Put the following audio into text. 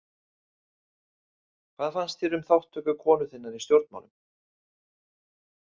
Hvað fannst þér um þátttöku konu þinnar í stjórnmálum?